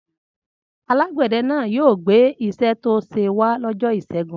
Alágbẹ̀dẹ náà yóò gbé iṣẹ́ tó ṣe wá lọ́jọ́ ìṣẹ́gun.